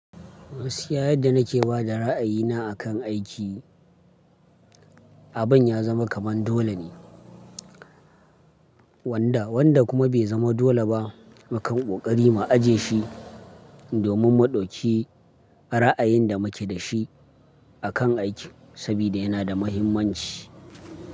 Gakiya yadda na ke ba da ra'ayina akan aiki, abin ya zama kaman dole ne wanda, wanda kuma bai zama dole ba, mukan ƙoƙari mu aje shi domin mu ɗauki ra'ayin da mu ke da shi akan aiki sabida yana da muhimmanci.